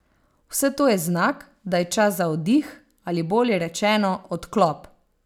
Vse to je znak, da je čas za oddih ali bolje rečeno odklop.